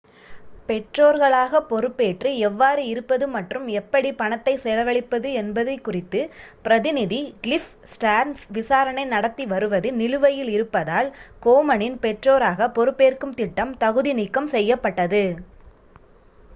பெற்றோர்களாக பொறுப்பேற்று எவ்வாறு இருப்பது மற்றும் எப்படி பணத்தை செலவழிப்பது என்பது குறித்து பிரதிநிதி கிளிஃப் ஸ்டேர்ன்ஸ் விசாரணை நடத்தி வருவது நிலுவையில் இருப்பதால் கோமனின் பெற்றோராக பொறுப்பேற்கும் திட்டம் தகுதி நீக்கம் செய்யப்பட்டது